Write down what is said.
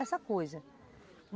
Essa coisa.